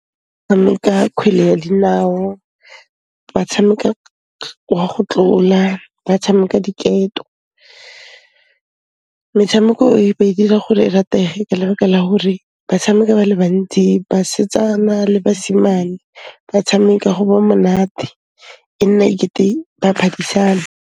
Tshameka khwele ya dinao, ba tshameka wa go tlola, ba tshameka diketo. Metshameko e ba dira gore e ratege ka lebaka la hore ba tshameka ba le bantsi, basetsana le basimane ba tshameka go ba monate, e nna e kete ba phadisana.